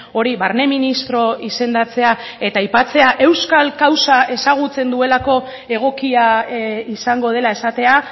hori barne ministro izendatzea eta aipatzea euskal kausa ezagutzen duelako egokia izango dela esatea